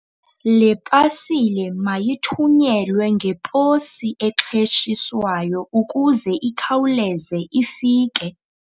Le pasile mayithunyelwe ngeposi exheshiswayo ukuze ikhawuleze ifike.